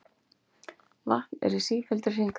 Vatn er í sífelldri hringrás.